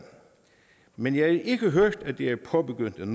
men jeg ikke hørt om at det er påbegyndt